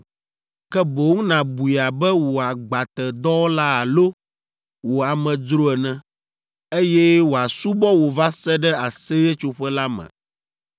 ke boŋ nàbui abe wò agbatedɔwɔla alo wò amedzro ene, eye wòasubɔ wò va se ɖe Aseyetsoƒe la me.